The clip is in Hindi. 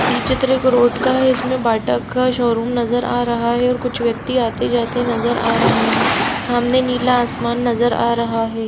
ये चित्र एक रोड का हैं इसमे बाटा का शोरूम नजर आ रहा हैऔर कुछव्यक्ति आते जाते नजर आ रहे है सामने नीला आसमान नजर आ रहा है सामने नीला आसमान नजर आ रहा है।